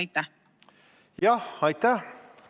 Aitäh!